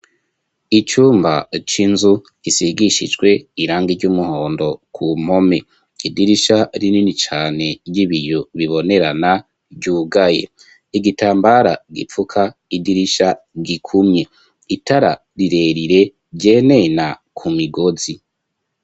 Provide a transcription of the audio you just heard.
Icumba c'inzu gisigishijwe irangi ry'umuhondo ku mpome idirisha rinini cane ry'ibiyo bibonerana ryugaye, igitambara gipfuka idirisha gikumye itara rirerire ryenena ku migozi.